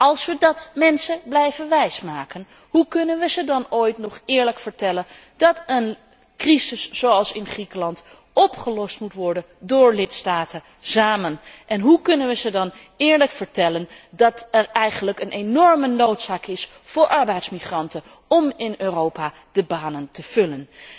Als we de mensen dat blijven wijsmaken, hoe kunnen we ze dan ooit nog eerlijk vertellen dat een crisis zoals in Griekenland, opgelost moet worden door lidstaten samen en hoe kunnen we ze dan eerlijk vertellen dat er eigenlijk een enorme noodzaak is aan arbeidsmigranten om in Europa de banen te vullen?